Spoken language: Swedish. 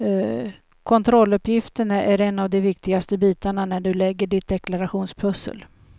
Kontrolluppgifterna är en av de viktigaste bitarna när du lägger ditt deklarationspussel.